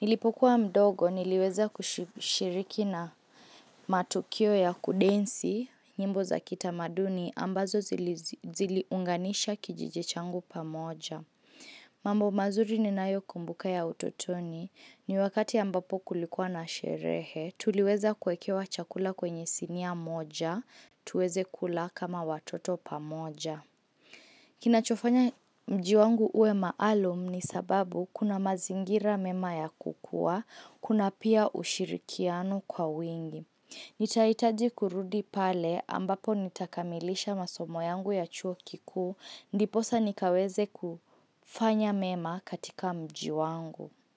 Nilipokuwa mdogo niliweza kushiriki na matukio ya kudensi, nyimbo za kitamaduni, ambazo ziliunganisha kijijichangu pamoja. Mambo mazuri ninayo kumbuka ya utotoni. Ni wakati ambapo kulikuwa na sherehe, tuliweza kuwekewa chakula kwenye sinia moja. Tuweze kula kama watoto pamoja Kinachofanya mji wangu uwe maalum ni sababu kuna mazingira mema ya kukua Kuna pia ushirikiano kwa wingi Nitaitaji kurudi pale ambapo nitakamilisha masomo yangu ya chuo kikuu Ndiposa nikaweze kufanya mema katika mji wangu.